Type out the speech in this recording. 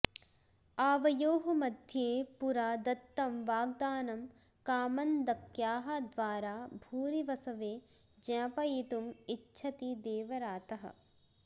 आवयोः मध्ये पुरा दत्तं वाग्दानं कामन्दक्याः द्वारा भूरिवसवे ज्ञापयितुम् इच्छति देवरातः